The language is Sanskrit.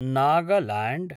नागालैण्ड्